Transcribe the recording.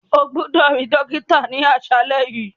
O gbọdọ ri dokita ni aṣalẹ yi.